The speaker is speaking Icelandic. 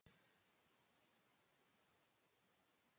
Af hverju ertu svona þrjóskur, Teresía?